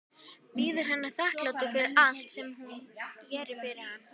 Bíður hennar þakklátur fyrir allt sem hún gerir fyrir hann.